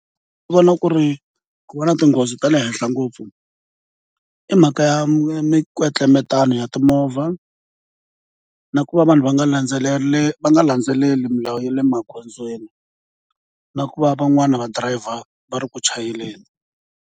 Ndzi vona ku ri ku va na tinghozi ta le henhla ngopfu i mhaka ya minkwetlembetano ya timovha na ku va vanhu va nga landzeleli va nga landzeleli milawu ya le magondzweni na ku va van'wani va driver va ri ku chayeleni.